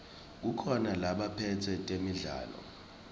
kukhona labaphetse temidlalo